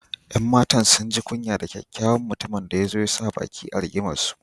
’Yan matan sun ji kunya da kyakyawan mutumin da ya zo ya sa baki a rigimarsu.